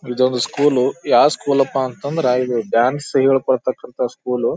ಇದು ಒಂದು ಸ್ಕೂಲು ಯಾವ್ ಸ್ಕೂಲ್ ಅಪ್ಪ ಅಂತ ಅಂದ್ರ ಇದು ಡಾನ್ಸ್ ಹೇಳ್ಕೊದಂತ ಸ್ಕೂಲ್ .